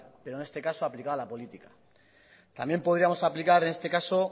pero en este caso aplicado a la política también podríamos aplicar en este caso